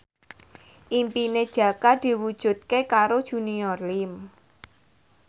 impine Jaka diwujudke karo Junior Liem